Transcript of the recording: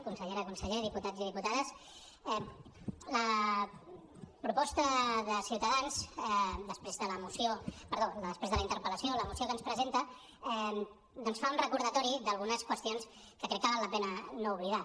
consellera conseller diputats i diputades la proposta de ciutadans després de la interpel·lació la moció que ens presenta doncs fa un recordatori d’algunes qüestions que crec que val la pena no oblidar